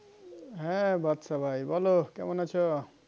হ্যাঁ বাদ্শা ভাই বলো কেমন আছো?